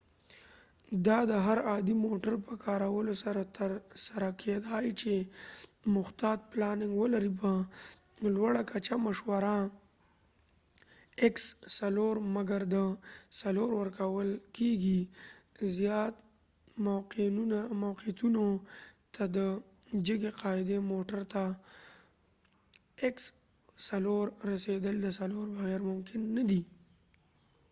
دا د هرعادي موټر په کارولو سره تر سره کېدای چې محتاط پلاننګ ولري ،مګر د 4x4 په لوړه کچه مشوره ورکول کېږی، زیات موقعیتونو ته رسیدل د 4x4 د جګی قاعدي موټر نه بغیر ممکن نه دي